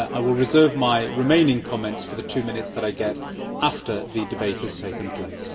I will reserve my remaining comments for the two minutes which I get after the debate has taken place.